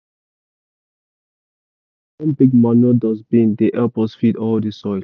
for our community garden na one big manure dustbin dey help us feed all the soil.